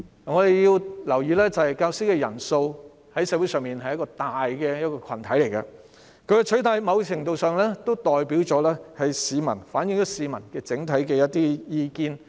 我們要留意的是，教師在社會上是一個大群體，他們的取態在某程度上反映了部分市民的整體意見。